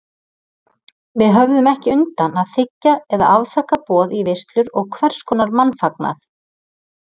Við höfðum ekki undan að þiggja eða afþakka boð í veislur og hverskonar mannfagnað.